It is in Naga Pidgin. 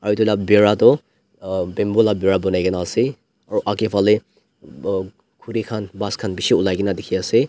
aro edu la bhaera tu bamboo la bhaera banai kae na ase aro akae falae khuri khan ghas khan bishi olai kaena dikhiase.